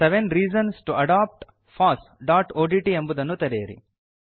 seven reasons to adopt fossಒಡಿಟಿ ಎಂಬುದನ್ನು ತೆರೆಯಿರಿ